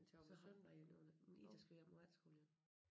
Så har vi en overnatning Ida skal hjem på efterskole igen